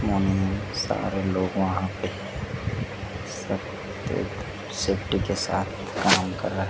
सारे लोग वहां पे सब सेफ्टी के साथ काम कर रहे--